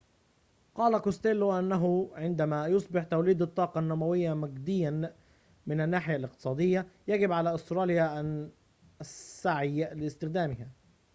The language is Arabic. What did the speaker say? قال كوستيلو إنه عندما يصبح توليد الطاقة النووية مجدياً من الناحية الاقتصادية يجب على أستراليا أن السعي لاستخدامها